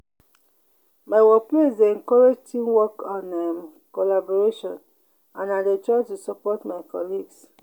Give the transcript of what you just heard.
my workplace dey encourage teamwork and um collaboration and i dey try to support my colleagues.